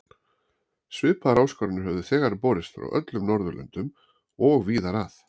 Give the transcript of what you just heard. Svipaðar áskoranir höfðu þegar borist frá öllum Norðurlöndum og víðar að.